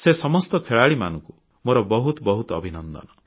ସେ ସମସ୍ତ ଖେଳାଳିମାନଙ୍କୁ ମୋର ବହୁତ ବହୁତ ଅଭିନନ୍ଦନ